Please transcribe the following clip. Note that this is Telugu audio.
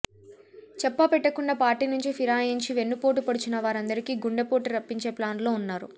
చెప్పా పెట్టకుండా పార్టీ నుంచి ఫిరాయించి వెన్నుపోటు పొడిచిన వారందరికీ గుండెపోటు రప్పించే ప్లాన్లో ఉన్నారు